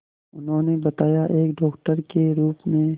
उन्होंने बताया एक डॉक्टर के रूप में